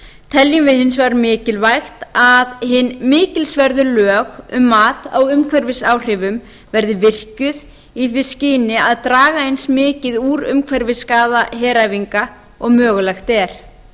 teljum við hins vegar mikilvægt að hin mikilsverðu lög um mat á umhverfisáhrifum verði virkjuð í því skyni að draga eins mikið úr umhverfisskaða heræfinga og mögulegt er